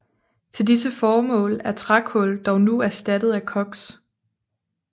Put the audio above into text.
Til disse formål er trækul dog nu erstattet af koks